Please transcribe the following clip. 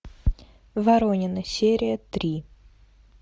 воронины серия три